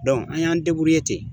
an y'an ten.